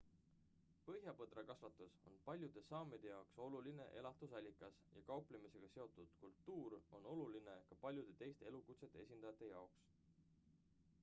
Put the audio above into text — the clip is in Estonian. põhjapõdrakasvatus on paljude saamide jaoks oluline elatusallikas ja kauplemisega seotud kultuur on oluline ka paljude teiste elukutsete esindajate jaoks